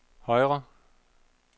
højre